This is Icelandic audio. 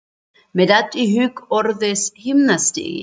Mér datt í hug orðið himnastigi.